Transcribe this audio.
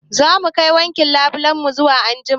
Zamu kai wankin labulen mu zuwa anjima